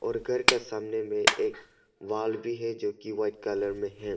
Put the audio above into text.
और घर का सामने में एक वॉल भी है जो कि वाइट कलर में है।